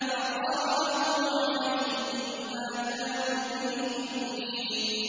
فَقَرَأَهُ عَلَيْهِم مَّا كَانُوا بِهِ مُؤْمِنِينَ